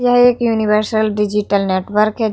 यह एक universal digital network है।